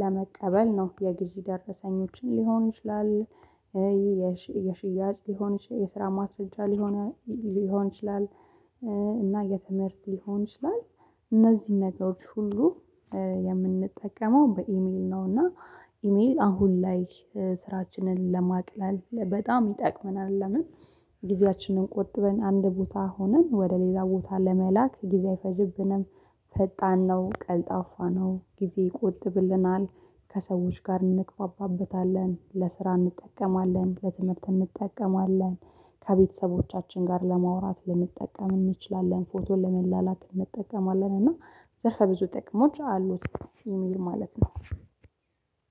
ለመቀበል ነው። ነው የግዥ ደረሰኞችን ሊሆን ይችላል፣ የሽያጭ ሊሆን ይችላል፣ የስራ ማስረጃ ሊሆን ይችላል እና የትምህርት ሊሆን ይችላል እነዚህ ነገሮች ሁሉ የምንጠቀመው በኢሜል ነው። እና ኢሜል አሁን ላይ ስራችንን ለማቅለል በጣም ይጠቅመናል። ለምን ጊዜያችንን ቆጥበን አንድ ቦታ ሆነን ወደ ሌዛ ቦታ ለመላክ ጊዜ አይፈጅብንም ፈጣን ነው። ቀልጣፏ ነው። ጊዜ ይቆጥብልናል። ከሰዎች ጋር እንግባባበታለን። ለስራ እንጠቀማለን። ለትምህርት እንጠቀማለን። ከቤተሰቦቻችን ጋር ለማውራት ልንጠቀም እንችላለን። ፎቶ ለመላላቅ እንጠቀማለን። እና ዘርፈ ብዙ ጥቅሞች አሉት። ኢሜል ማለት ነው